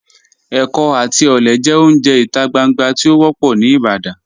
Ẹkọ àti ọlẹ jẹ ọ̀unje ita gbàngbà tí o wọ́pọ̀ ni Ìbàdàn.